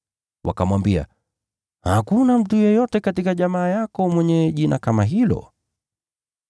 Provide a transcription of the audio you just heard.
Wakamwambia, “Hakuna mtu yeyote katika jamaa yako mwenye jina kama hilo.”